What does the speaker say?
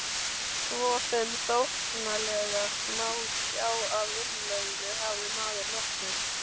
Svo sem þóknanlegast má sjá af innlögðu, hafði maður nokkur